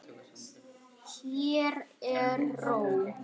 Hér er ró.